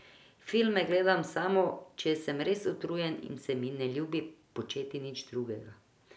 Filme gledam samo, če sem res utrujen in se mi ne ljubi početi nič drugega.